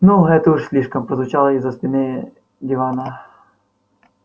ну это уж слишком прозвучало из-за спины дивана